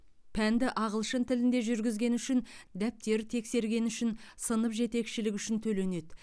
пәнді ағылшын тілінде жүргізгені үшін дәптер тексергені үшін сынып жетекшілігі үшін төленеді